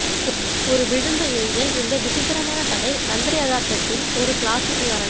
ஒரு விழுந்த ஏஞ்சல் இந்த விசித்திரமான கதை மந்திர யதார்த்தத்தின் ஒரு கிளாசிக் உதாரணம்